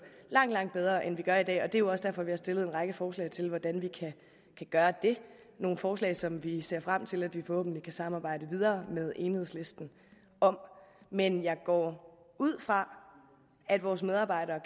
langt langt bedre end vi gør i dag og det er også derfor at vi har stillet en række forslag til hvordan vi kan gøre det nogle forslag som vi ser frem til at vi forhåbentlig kan samarbejde videre med enhedslisten om men jeg går ud fra at vores medarbejdere